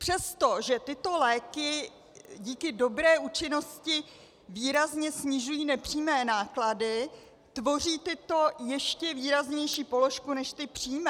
Přesto že tyto léky díky dobré účinnosti výrazně snižují nepřímé náklady, tvoří tyto ještě výraznější položku než ty přímé.